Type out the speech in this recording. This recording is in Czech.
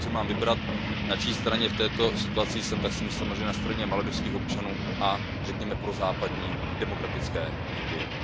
Pokud si mám vybrat, na čí straně v této situaci jsem, tak jsem samozřejmě na straně maledivských občanů a, řekněme, prozápadní demokratické Indie.